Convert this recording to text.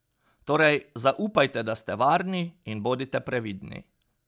Torej, zaupajte, da ste varni in bodite previdni.